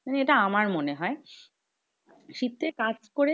এটা আমার মনে হয়। শীতে কাজ করে